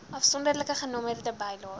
afsonderlike genommerde bylaes